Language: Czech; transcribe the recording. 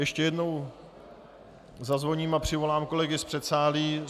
Ještě jednou zazvoním a přivolám kolegy z předsálí.